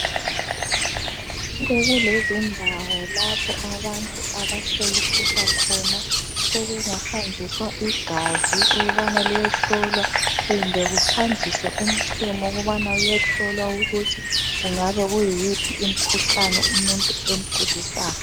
Sokule zindawo lapho abantu abahlolisisa khona sokungahanjiswa igazi ukubana liyehlolwa kumbe kuhanjiswe umchemo ukubana uyehlolwa ukuthi kungabe kuyiphi imkhuhlane umuntu emgulisayo.